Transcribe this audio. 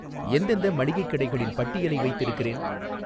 எந்தெந்த மளிகைக் கடைகளின் பட்டியலை வைத்திருக்கிறேன்